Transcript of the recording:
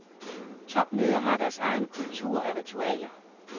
Topmøder har deres egen kultur af ritualer.